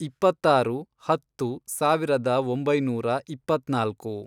ಇಪ್ಪತ್ತಾರು, ಹತ್ತು, ಸಾವಿರದ ಒಂಬೈನೂರ ಇಪ್ಪತ್ನಾಲ್ಕು